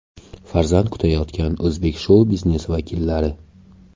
Farzand kutayotgan o‘zbek shou-biznesi vakillari .